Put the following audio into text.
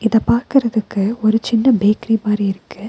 இத பாக்குறதுக்கு ஒரு சின்ன பேக்கரி மாறி இருக்கு.